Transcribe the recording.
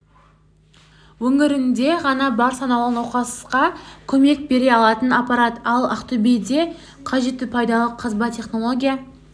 өңірінде ғана бар санаулы науқасқа көмек бере алатын аппарат ал ақтөбеде қажетті пайдалы қазба технология